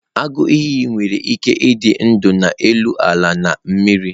Agụ iyi nwere ike ịdị ndụ ma n'elu ala na mmiri